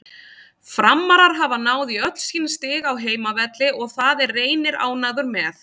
Framarar hafa náð í öll sín stig á heimavelli og það er Reynir ánægður með.